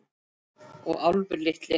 Og Álfur litli.